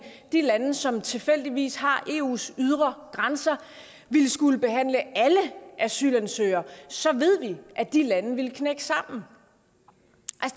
de lande som tilfældigvis har eus ydre grænser ville skulle behandle alle asylansøgere og så ved vi at de lande ville knække sammen